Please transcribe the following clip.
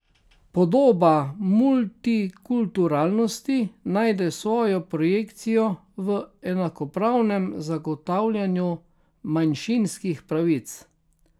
Podoba multikulturalnosti najde svojo projekcijo v enakopravnem zagotavljanju manjšinskih pravic.